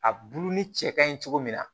A bulu ni cɛ kaɲi cogo min na